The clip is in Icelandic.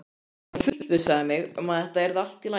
Hann fullvissaði mig um að þetta yrði allt í lagi.